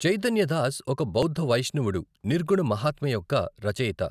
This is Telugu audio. చైతన్య దాస్ ఒక బౌద్ధ వైష్ణవుడు, నిర్గుణ మహాత్మ్య యొక్క రచయిత.